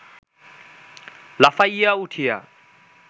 লাফাইয়া উঠিয়া